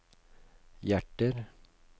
hjerter